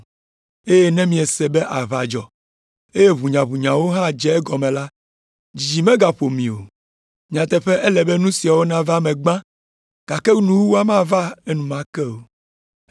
Eye ne miese be aʋa dzɔ, eye ʋunyaʋunyawo hã dze egɔme la, dzidzi megaƒo mi o. Nyateƒe ele be nu siawo nava me gbã, gake nuwuwua mava enumake o.